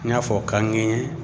N y'a fɔ ka ŋɛɲɛ